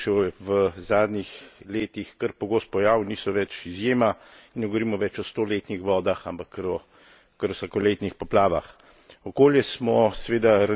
Treba je reči, da so poplave in suše v zadnjih letih kar pogost pojav, niso več izjema in ne govorimo več o stoletnih vodah, ampak kar o vsakoletnih poplavah.